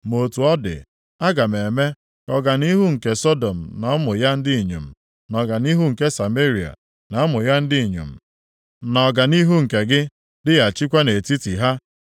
“ ‘Ma otu ọ dị, aga m eme ka ọganihu nke Sọdọm na ụmụ ya ndị inyom, na ọganihu nke Sameria na ụmụ ya ndị inyom, na ọganihu nke gị dịghachikwa nʼetiti ha: